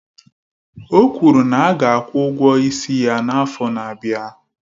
O kwuru na a ga-akwụ ụgwọ isi ya n'afọ na-abịa